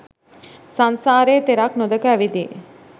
සංසාරයේ තෙරක් නොදැක ඇවිදියි.